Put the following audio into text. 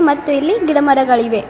ಮತ್ತು ಇಲ್ಲಿ ಗಿಡ ಮರಗಳಿವೆ.